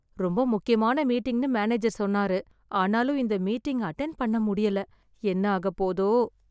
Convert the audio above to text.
ரொம்ப முக்கியமான மீட்டிங்னு மேனேஜர் சொன்னாரு ஆனாலும் இந்த மீட்டிங் அட்டென்ட் பண்ண முடியல என்ன ஆகப் போதோ